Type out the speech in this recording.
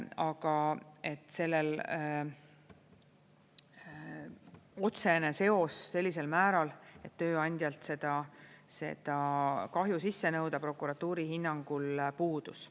Aga et sellel oleks otsene seos sellisel määral, et tööandjalt seda kahju sisse nõuda, prokuratuuri hinnangul puudus.